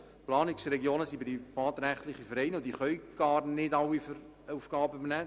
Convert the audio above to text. Die Planungsregionen sind privatrechtliche Vereine, die gar nicht alle Aufgaben übernehmen können.